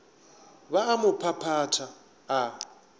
ba a mo phaphatha a